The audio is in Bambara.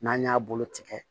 N'an y'a bolo tigɛ